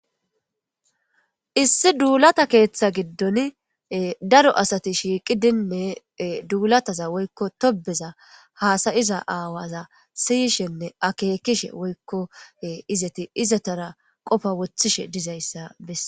issi duulata keeththa giddon daro asati shiiqi dinne duulataza woykko tobeza haasayiza aawaza siyishenne akeekishe woykko izati izatara qofa wothishe dizayssa besses